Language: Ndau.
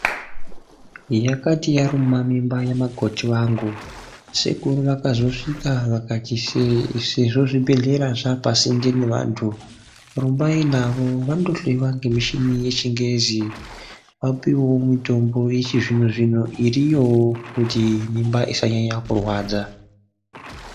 Yakati raruma mimba yamakoti vangu sejuru vakazosvika vakati sezvo zvibhedhleya zvaapasinde nevanthu, rumbai navo vandohloyiwa ngemichini yechingezi vapiwewo mitombo yechizvino-zvino iriyowo kuti mimba isanyanya kurwadza